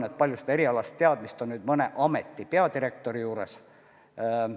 Kui palju on erialast teadmist mõne ameti peadirektoril?